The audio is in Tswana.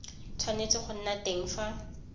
tshwanetse go nna teng fa